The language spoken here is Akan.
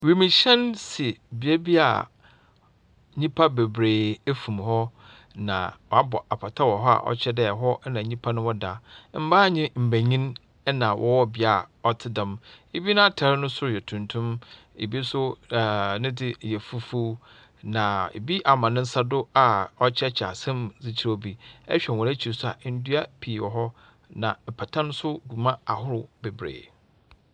Wimuhɛn si beebi a nyimpa beberee efum hɔ, na wɔabɔ apata wɔ hɔ a ɔkyerɛ dɛ hɔ na nyimpa no wɔda. Mbaa na mbanyin na wɔwɔ bea a ɔtse dɛm. Bi n’atar no sor yɛ tuntum, bi so ne dze yɛ fufuw, na bi ama ne nsa do a ɔrekyerɛkyerɛ asɛm mu dze kyerɛ obi. Ehwɛ hɔ ekyir so a, ndua pii wɔ hɔ, na apata no so gu mu ahorow beberee.